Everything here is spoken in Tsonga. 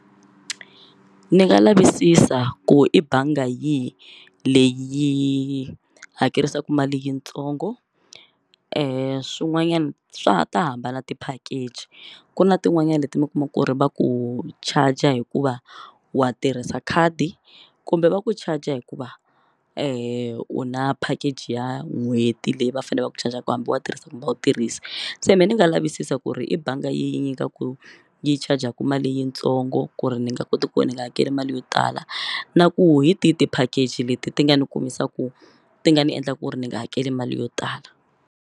Ni nga lavisisa ku i banga yihi leyi hakerisaku mali yintsongo swin'wanyani swa ta hambana ti-package ku na tin'wanyani leti mi kuma ku ri va ku charger hikuva wa tirhisa khadi kumbe va ku charger hikuva u na package ya n'hweti leyi va fane va ku charger ku hambi wa tirhisa kumbe u tirhisa se me ni nga lavisisa ku ri i banga yi nyikaku yi charg-aku mali yitsongo ku ri ni nga koti ku ni nga hakeli mali yo tala na ku hi ti ti-package leti ti nga ni kumisaku ti nga ni endla ku ri ni nga hakeli mali yo tala.